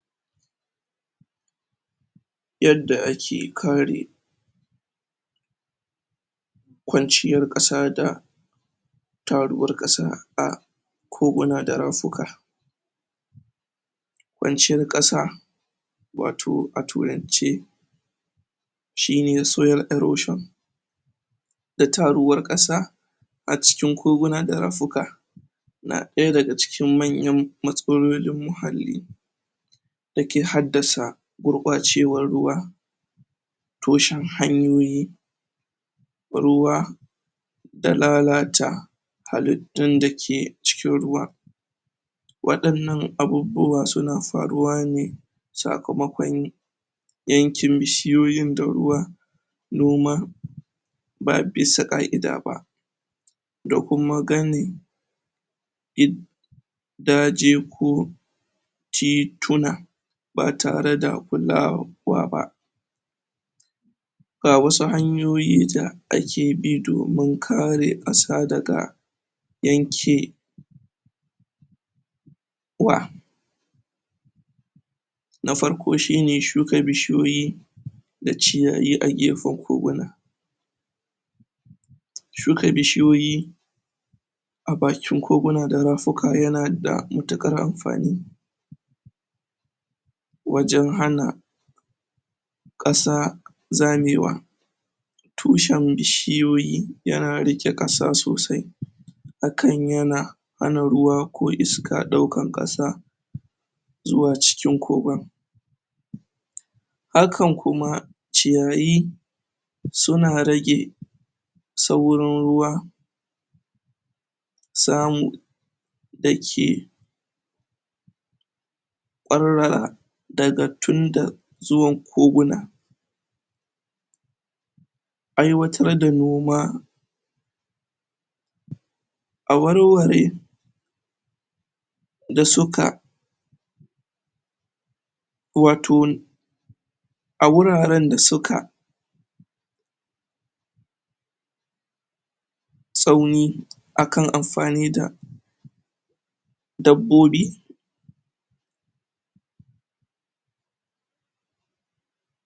yadda ake kare kwanciyar ƙasata taruwar ƙasa a koguna da rafuka kwanciyar ƙasa wato a turance shine soil erosion da taruwar ƙasa a cikin koguna da rafuka na ɗaya daga cikin manyan matsalolin muhalli da ke haddasa gurɓacewar ruwa toshin hanyoyi ruwa da lalata halittun da ke cikin ruwa waɗannan abubuwa suna faruwa ne sakamakon yankin bishiyoyin da ruwa noma ba bisa ƙa'ida ba da kuma gami? daji ko tituna ba tare da kulawar kowa ba ga wasu hanyoyi da ake bi domin kare ƙasa daga yanke wa na farko shine shuka bishiyoyi da ciyayi a gefen koguna? shuka bishiyoyi a bakin koguna da rafuka yana da matuƙar anfani wajen hana ƙasa zamewa tushen bishiyoyi yana riƙe ƙasa sosai hakan yana hana ruwa ko iska ɗaukan ƙasa zuwa cikin kogon? hakan kuma ciyayi suna rage saurin ruwa samu dake ƙwarra daga tunda zuwan koguna aiwatar da noma? a warware da suka waton a wuraren da suka tsauni akan anfani da dabbobi